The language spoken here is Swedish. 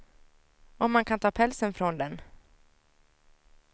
Och man kan ta pälsen från den.